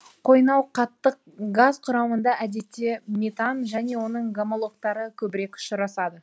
қойнауқаттық газ құрамында әдетте метан және оның гомологтары көбірек ұшырасады